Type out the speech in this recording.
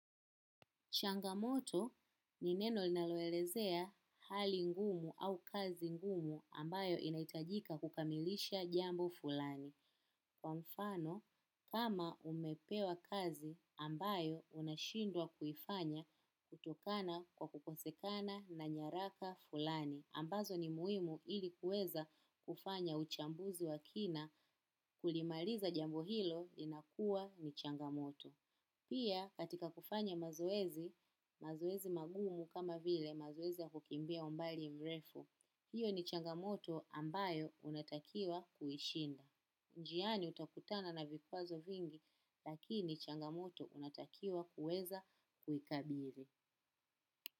Changamoto ni neno linaloelezea hali ngumu au kazi ngumu ambayo inahitajika kukamilisha jambo fulani. Kwa mfano, kama umepewa kazi ambayo unashindwa kuifanya kutokana kwa kukosekana na nyaraka fulani. Ambazo ni muhimu ili kuweza kufanya uchambuzi wa kina kulimaliza jambo hilo linakuwa ni changamoto. Pia katika kufanya mazoezi, mazoezi magumu kama vile mazoezi ya kukimbia umbali mrefu, hiyo ni changamoto ambayo unatakiwa kuishinda. Njiani utakutana na vikwazo vingi lakini changamoto unatakiwa kueza kuhikabili.